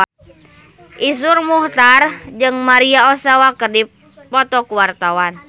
Iszur Muchtar jeung Maria Ozawa keur dipoto ku wartawan